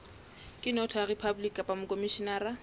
ke notary public kapa mokhomishenara